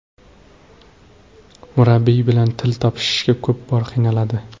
Murabbiyi bilan til topishishga ko‘p bor qiynaladi.